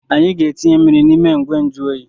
Anyị ga-etinye mmiri n’ime igwenjụoyi